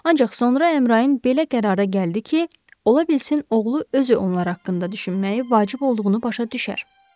Ancaq sonra Əmrayın belə qərara gəldi ki, ola bilsin oğlu özü onlar haqqında düşünməyi vacib olduğunu başa düşər.